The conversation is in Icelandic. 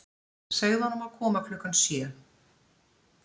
Segðu honum að koma klukkan sjö.